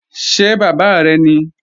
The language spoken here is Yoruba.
Ṣé bàbá rẹ̀ ní?